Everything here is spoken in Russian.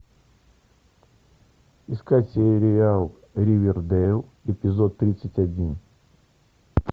искать сериал ривердейл эпизод тридцать один